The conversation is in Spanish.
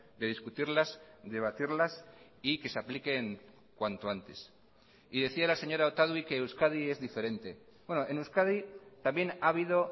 de discutirlas debatirlas y que se apliquen cuanto antes y decía la señora otadui que euskadi es diferente en euskadi también ha habido